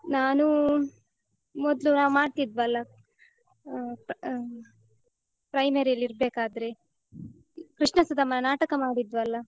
ನಾನೂ ಮೊದ್ಲು ನಾವ್ ಮಾಡ್ತಿದ್ವಲ್ಲ.ಆಹ್ ಆಹ್ primary ಅಲ್ಲ್ ಇರ್ಬೇಕಾದ್ರೆ ಕೃಷ್ಣ-ಸುಧಾಮ ನಾಟಕ ಮಾಡಿದ್ವಲ್ಲ?